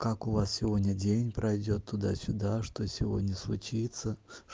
как у вас сегодня день пройдёт туда сюда что сегодня случится